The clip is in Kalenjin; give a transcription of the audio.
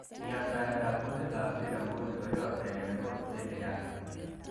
Yaptaetab kutikab Zira nguni koyookse en emotisiek chechang'.